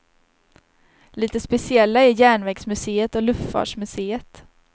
Lite speciella är järnvägsmuseet och luftfartsmuseet.